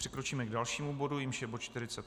Přikročíme k dalšímu bodu, jímž je bod